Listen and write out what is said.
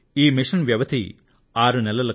ఈ మిషన్ వ్యవధి 6 నెలలు